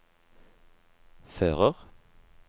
fører